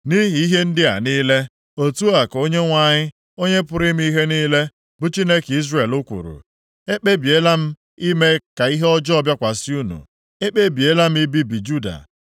“Nʼihi ihe ndị a niile, otu a ka Onyenwe anyị, Onye pụrụ ime ihe niile, bụ Chineke Izrel kwuru: Ekpebiela m ime ka ihe ọjọọ bịakwasị unu; ekpebiela m ibibi Juda.